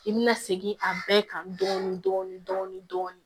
I bi na segin a bɛɛ kan dɔɔnin dɔɔnin